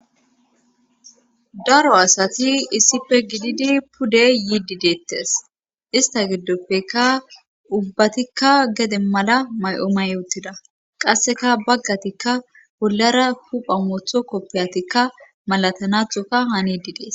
daro asati issife gididi pudde yiidi deettes ista giddoppeka ubbatikka gede mala may7o may yoottida qasseka baggatikka bollara hupha motho koppiyatikka malatanathoka hanidi dees